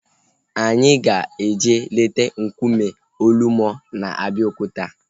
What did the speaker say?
Anyị ga-eje leta nkume Olumo na Abeokuta